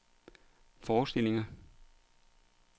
forestillinger